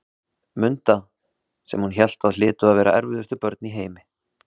Munda, sem hún hélt að hlytu að vera erfiðustu börn í heimi.